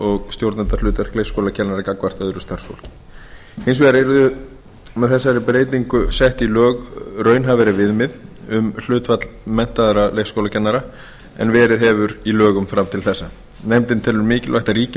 og stjórnendahlutverk leikskólakennara gagnvart öðru starfsfólki hins vegar yrði með þessari breytingu sett í lög raunhæfari viðmið um hlutfall menntaðra leikskólakennara en verið hefur í lögum fram til þessa nefndin telur mikilvægt að ríki